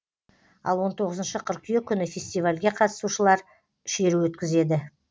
ал он тоғызыншы қыркүйек күні фестивальге қатысушалар шеру өткізеді